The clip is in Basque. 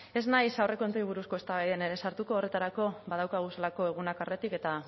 ez naiz aurrekontuei buruzko eztabaidan sartuko horretarako badauzkagulako egunak aurretik eta